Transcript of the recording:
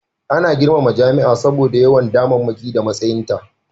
Ana girmama jami'a saboda yawan damammaki da matsayinta